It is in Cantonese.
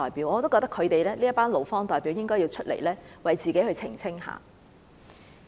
我覺得這群勞方代表應該要出來為自己澄清。